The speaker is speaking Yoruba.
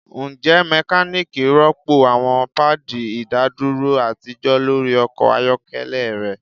Njẹ mekaniki rọpo awọn paadi idaduro atijọ lori ọkọ ayọkẹlẹ rẹ